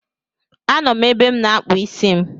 A nọ m ebe m na-akpụ isi m